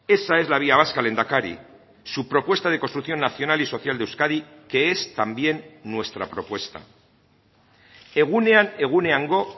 esa es la vía vasca lehendakari su propuesta de construcción nacional y social de euskadi que es también nuestra propuesta egunean eguneango